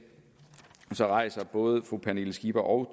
rejser både fru pernille skipper og